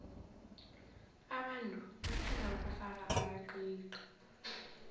abantu bathanda ukufaka amaqiqi